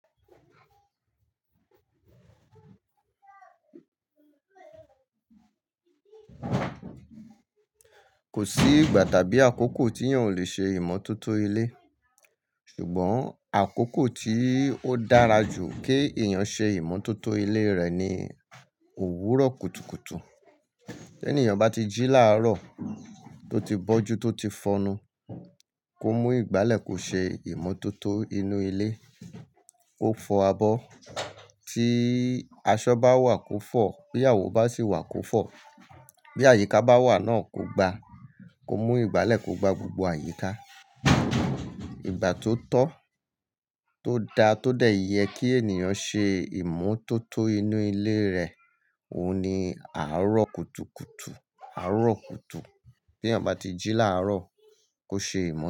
Kò sí ìgbà tàbí àkókò tí èèyàn ò le ṣe ìmótótó ilé. Ṣùgbọ́n àkókò tí ó dára jù kí èèyàn ṣe ìmótótó ilé rẹ̀ ni òwúrọ̀ kùtùkùtù. Tí ẹni èèyàn bá ti jí láàárọ̀ tó ti bọ́jú tó ti fọnu, kó mú ìgbálẹ̀ kó ṣe ìmótótó inú ilé. Ko fọ abọ́. Tí aṣọ bá wà kó fọ̀, bí àwò bá sì wà kó fọ̀, bí àyíká bá wà náà kó gba, kó mú ìgbálẹ̀ kó gba gbogbo àyíká. Ìgbà tó tọ́, tó da tó dẹ̀ yẹ kí ènìyàn ṣe ìmótótó inú ilé rẹ̀, òhun ni àárọ̀ kùtùkùtù, àárọ̀ kùtù. Bí èèyàn bá ti jí láàárọ̀ kó ṣe ìmótótó.